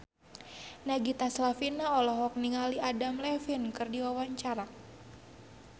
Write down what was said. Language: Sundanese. Nagita Slavina olohok ningali Adam Levine keur diwawancara